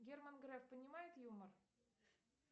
герман греф понимает юмор